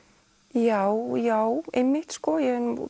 já já einmitt ég hef nú